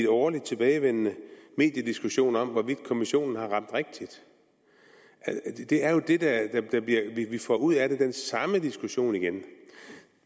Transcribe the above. årligt tilbagevendende mediediskussion om hvorvidt kommissionen har ramt rigtigt det er jo det vi får ud af det altså den samme diskussion igen